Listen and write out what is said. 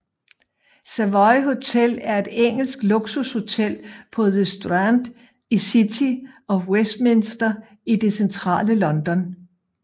Savoy Hotel er et engelsk luksushotel på The Strand i City of Westminster i det centrale London